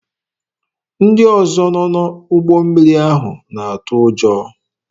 Ndị ọzọ nọ n'ụgbọ mmiri ahụ na-atụ ụjọ.